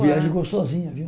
Viagem gostosinha, viu?